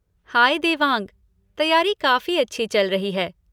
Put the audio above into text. हाय देवांग! तैयारी काफ़ी अच्छी चल रही है।